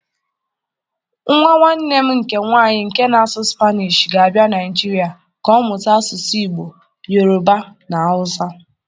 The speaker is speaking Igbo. Nwa nwanne m ké nwanyị nke na-asụ Spanish, ga-abịa Naịjirịa ka ọ mụta asụsụ Igbo, Yoruba na Hausa.